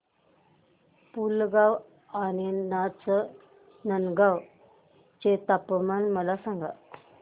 पुलगांव आणि नाचनगांव चे तापमान मला सांग